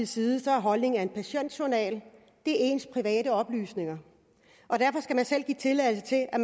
side er holdningen at en patientjournal er ens private oplysninger og derfor skal give tilladelse til at